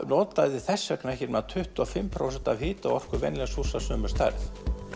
notaði þess vegna ekki nema tuttugu og fimm prósent af hita og orkuþörf venjulegs húss af sömu stærð